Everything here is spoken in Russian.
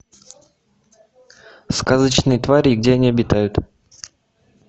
сказочные твари и где они обитают